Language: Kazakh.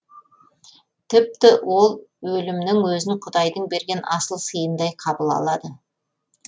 тіпті ол өлімнің өзін құдайдың берген асыл сыйындай қабыл алады